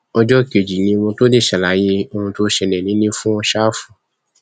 ọjọ kejì ni mo tóó lè ṣàlàyé ohun tó ṣẹlẹ nílẹ fún ṣáfù